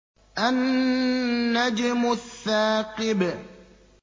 النَّجْمُ الثَّاقِبُ